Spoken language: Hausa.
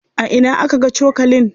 A ina aka ga cokalin?